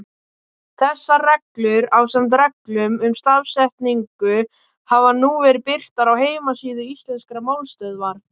Þessar reglur, ásamt reglum um stafsetningu, hafa nú verið birtar á heimasíðu Íslenskrar málstöðvar.